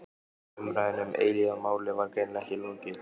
Umræðunni um eilífðarmálið var greinilega ekki lokið.